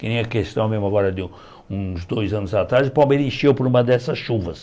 Que nem a questão mesmo agora de um uns dois anos atrás, o Palmeira encheu por uma dessas chuvas.